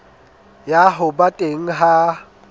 ya ho ba teng ha